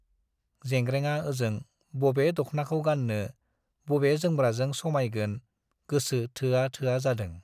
जेंग्रेंआ ओजों बबे दख्नाखौ गान्नो, बबे जोमग्राजों समाइगोन गोसो थोआ थोआ जादों ।